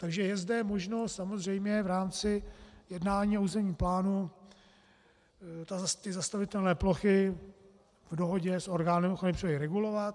Takže je zde možno samozřejmě v rámci jednání o územním plánu ty zastavitelné plochy v dohodě s orgánem ochrany přírody regulovat.